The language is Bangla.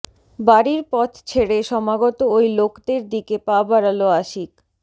বাড়ির পথ ছেড়ে সমাগত ওই লোকদের দিকে পা বাড়াল আশিক